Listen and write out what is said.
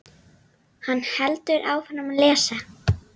Hann heldur áfram að lesa